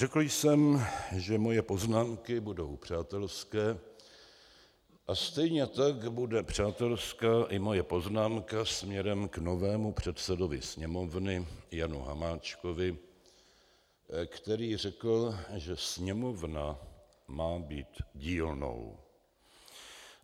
Řekl jsem, že moje poznámky budou přátelské, a stejně tak bude přátelská i moje poznámka směrem k novému předsedovi Sněmovny Janu Hamáčkovi, který řekl, že Sněmovna má být dílnou.